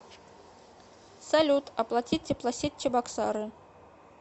салют оплати теплосеть чебоксары